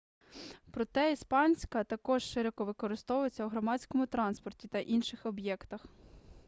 проте іспанська також широко використовується у громадському транспорті та інших об'єктах